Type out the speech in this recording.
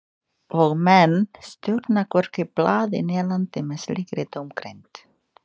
Og menn stjórna hvorki blaði né landi með slíkri dómgreind.